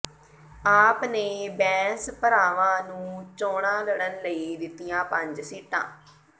ਆਪ ਨੇ ਬੈਂਸ ਭਰਾਵਾਂ ਨੂੰ ਚੋਣਾਂ ਲੜਨ ਲਈ ਦਿੱਤੀਆਂ ਪੰਜ ਸੀਟਾਂ